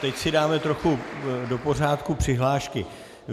Teď si dáme trochu do pořádku přihlášky.